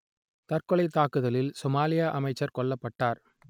தற்கொலைத் தாக்குதலில் சோமாலிய அமைச்சர் கொல்லப்பட்டார்